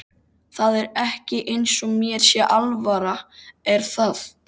Það er ekki eins og mér sé alvara er það?